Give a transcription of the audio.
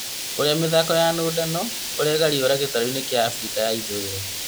Ũrĩa mĩthako ya nũndano eragarĩurũra gĩtaro-inĩ kĩa Afrika ya ithũĩro